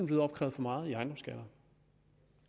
blevet opkrævet for meget i ejendomsskatter